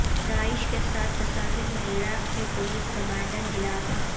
داعش کیساتھ تصادم میں عراق کے پولیس کمانڈر ہلاک